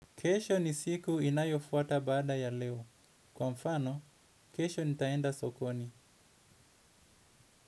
Kesho ni siku inayofuata baada ya leo. Kwa mfano, kesho nitaenda sokoni.